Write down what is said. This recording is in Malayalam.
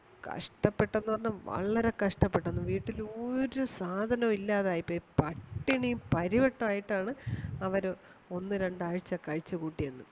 കഷ്ട്ടപെട്ടന്നു പറഞ്ഞാൽ വളരെ കഷ്ട്ടപെട്ടുന്നു വീട്ടിൽ ഒരു സാധനവും ഇല്ലാതെ ആയിപോയി പട്ടിണിയും പരിവട്ടവും ആയിട്ടാണ് അവര് ഒന്ന് രണ്ടു ആഴ്ച കഴിച്ചു കൂട്ടിതു